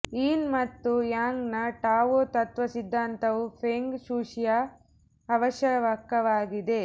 ಯಿನ್ ಮತ್ತು ಯಾಂಗ್ ನ ಟಾವೊ ತತ್ವ ಸಿದ್ಧಾಂತವು ಫೆಂಗ್ ಶೂಯಿಯ ಅವಶ್ಯಕವಾಗಿದೆ